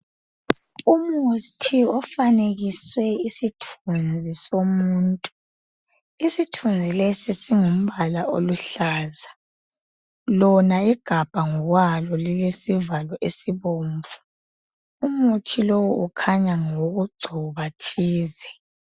Umuthi ofanekiswe isithunzi somuntu, isithunzi lesi silomba oluhlaza ,lona igabha ngokwalo lilombala obomnvu , umuthi lo ukhanya ngokugcoba thize.